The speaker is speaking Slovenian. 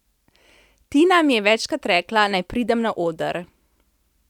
Tina mi je večkrat rekla, naj pridem na oder.